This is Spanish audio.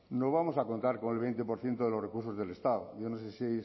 no vamos a contar con el veinte por ciento de los recursos del estado yo no sé si